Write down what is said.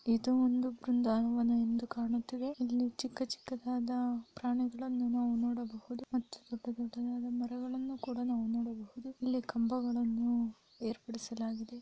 ಇದು ಒಂದು ಬೃಂದಾವನ ಎಂದು ಕಾಣುತ್ತಿವೆ ಇಲ್ಲಿ ಚಿಕ್ಕ ಚಿಕ್ಕದಾದ ಪ್ರಾಣಿಗಳನ್ನು ನಾವು ನೋಡಬಹುದು ಮತ್ತು ದೊಡ್ಡ ದೊಡ್ಡದಾದ ಮರಗಳನ್ನು ಕೂಡ ನಾವು ನೋಡಬಹುದು. ಇಲ್ಲಿ ಕಂಬಗಳನ್ನು ಏರ್ಪಡಿಸಲಾಗಿದೆ.